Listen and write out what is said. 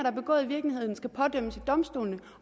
er begået i virkeligheden skal pådømmes af domstolene